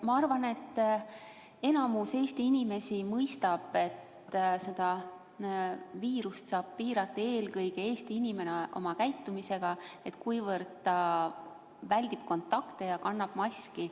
Ma arvan, et enamik Eesti inimesi mõistab, et seda viirust saab piirata eelkõige Eesti inimene oma käitumisega, kui ta väldib kontakte ja kannab maski.